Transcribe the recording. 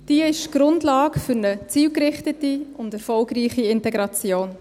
Diese ist die Grundlage für eine zielgerichtete und erfolgreiche Integration.